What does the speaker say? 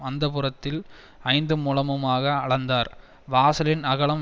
அந்தப்புறத்தில் ஐந்து முழமுமாக அளந்தார் வாசலின் அகலம்